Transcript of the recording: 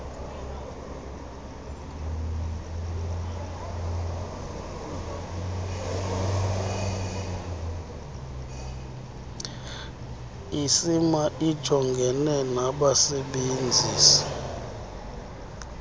icma ijongene nabasebenzisi